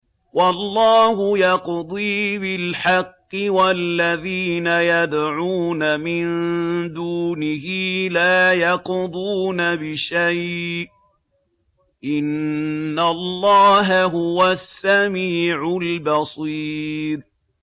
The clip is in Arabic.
وَاللَّهُ يَقْضِي بِالْحَقِّ ۖ وَالَّذِينَ يَدْعُونَ مِن دُونِهِ لَا يَقْضُونَ بِشَيْءٍ ۗ إِنَّ اللَّهَ هُوَ السَّمِيعُ الْبَصِيرُ